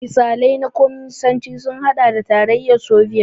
Misalai na Kwaminisanci sun haɗa da Tarayyar Sobiyet.